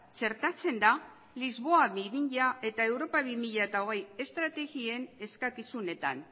txertatzen da lisboa bi mila eta europa bi mila hogei estrategien eskakizunetan